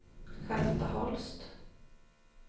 Charlotta Holst